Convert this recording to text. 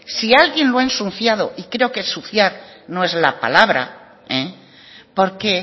si alguien lo ha ensuciado y creo que ensuciar no es la palabra porque